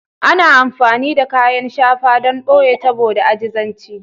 Ana amfani da kayan shafa don ɓoye tabo da ajizanci